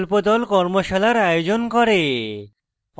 কর্মশালার আয়োজন করে